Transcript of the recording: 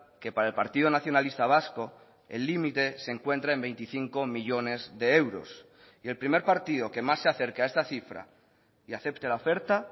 que para el partido nacionalista vasco el límite se encuentra en veinticinco millónes de euros y el primer partido que más se acerca a esta cifra y acepte la oferta